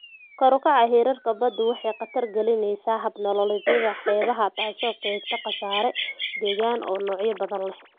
Kor u kaca heerarka baddu waxay khatar gelinaysaa hab-nololeedyada xeebaha, taasoo keenta khasaare deegaan oo noocyo badan leh.